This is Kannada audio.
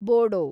ಬೋಡೋ